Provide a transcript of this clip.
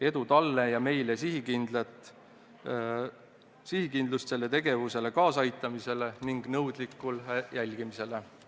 Edu talle ja meile sihikindlust sellele tegevusele kaasaaitamisel ning nõudlikul jälgimisel!